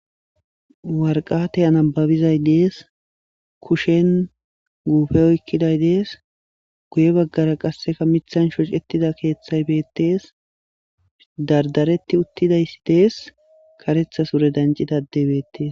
Warqatey anababizay dees kushen guufe oykkiday dees guye baggara qasseka mithan shocettida keeththay beettees dardaretti uttidaysi dees karethas ure dancidadebeettees.